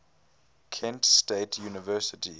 kent state university